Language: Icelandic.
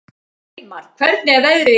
Reimar, hvernig er veðrið í dag?